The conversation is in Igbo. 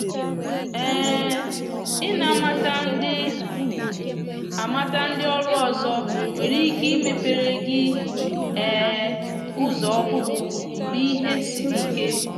um i na amata ndị amata ndị ọrụ ọzọ nwere ike imepere gi um ụzọ ọhụrụ mgbe ìhè sịrị ike